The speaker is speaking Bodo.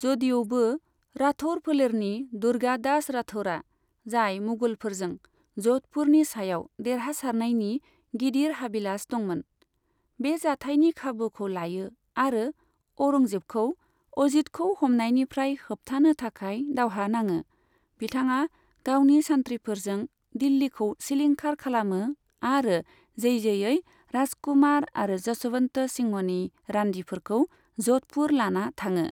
जदिउबो राठौर फोलेरनि दुर्गादास राठौरआ, जाय मुगलफोरजों ज'धपुरनि सायाव देरहासारनायनि गिदिर हाबिलास दंमोन, बे जाथायनि खाबुखौ लायो आरो औरंजेबखौ अजीतखौ हमनायनिफ्राय होबथानो थाखाय दावहा नाङो, बिथाङा गावनि सान्थ्रिफोरजों दिल्लीखौ सिलिंखार खालामो आरो जैजैयै राजकुमार आरो जशवन्त सिंहनि रान्दिफोरखौ ज'धपुर लाना थाङो।